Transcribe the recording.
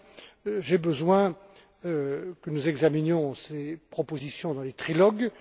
5. J'ai besoin que nous examinions ces propositions dans les trilogues.